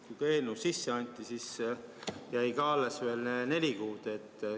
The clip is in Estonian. Kui eelnõu sisse anti, siis jäi ka alles veel neli kuud.